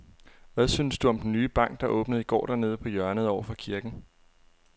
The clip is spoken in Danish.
Hvad synes du om den nye bank, der åbnede i går dernede på hjørnet over for kirken?